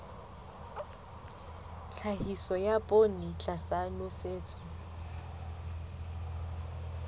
tlhahiso ya poone tlasa nosetso